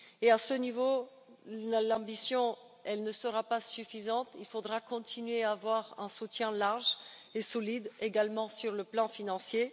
À ce niveau, l'ambition ne sera pas suffisante, il faudra continuer à avoir un soutien large et solide, y compris sur le plan financier.